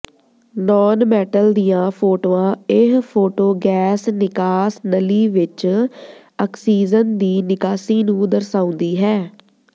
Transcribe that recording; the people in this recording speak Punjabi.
ਨਾਨਮੈਟਲ ਦੀਆਂ ਫੋਟੋਆਂ ਇਹ ਫੋਟੋ ਗੈਸ ਨਿਕਾਸ ਨਲੀ ਵਿੱਚ ਆਕਸੀਜਨ ਦੀ ਨਿਕਾਸੀ ਨੂੰ ਦਰਸਾਉਂਦੀ ਹੈ